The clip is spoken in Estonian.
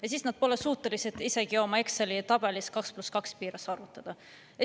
Ja siis nad pole suutelised Exceli tabelis isegi 2 + 2 piires arvutama.